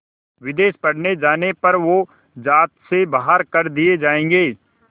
विदेश पढ़ने जाने पर वो ज़ात से बाहर कर दिए जाएंगे